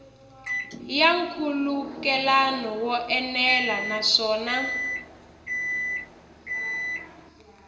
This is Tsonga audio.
ya nkhulukelano wo enela naswona